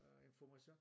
Øh information